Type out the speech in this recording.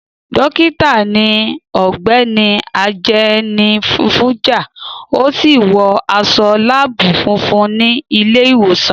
Dókítà ni Ọ̀gbẹ́ni Ajenifuja, ó sì wọ aṣọ láàbù funfun ní ilé ìwòsàn.